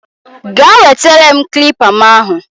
Gaa wetere m kilipa mu ahu